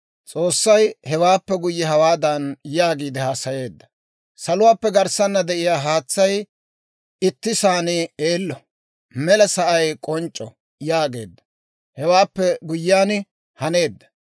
S'oossay hewaappe guyye hawaadan yaagiide haasayeedda; «Saluwaappe garssanna de'iyaa haatsay ittisaan eello; mela sa'ay k'onc'c'o» yaageedda; hewaappe guyyiyaan haneedda.